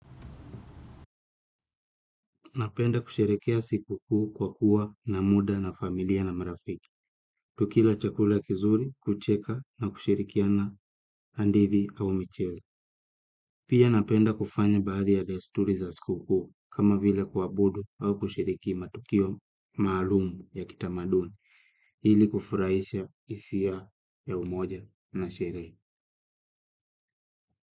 Napenda kusherehekea siku kuu kwa kuwa na muda na familia na marafiki. Tukila chakula kizuri, kucheka na kushirikiana hadithi au michezo. Pia napenda kufanya baadhi ya desturi za siku kuu kama vile kuabudu au kushiriki matukio maalumu ya kitamaduni. Hili kufurahisha hisia ya umoja na sherehe.